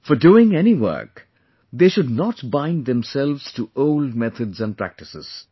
For doing any work, they should not bind themselves to old methods and practices